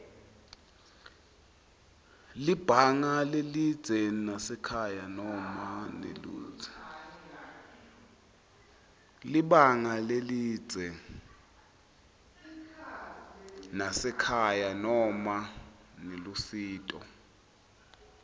libanga lelidze nasekhaya noma nelusito